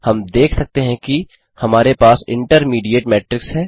हम देख सकते हैं कि हमारे पास इंटरमीडिएट मेट्रिक्स है